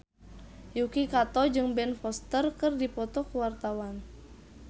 Yuki Kato jeung Ben Foster keur dipoto ku wartawan